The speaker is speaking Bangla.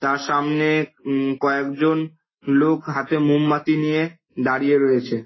তার সামনে-এ- উমম কয়েকজন লোক হাতে মোমবাতি নিয়ে দাঁড়িয়ে রয়েছে।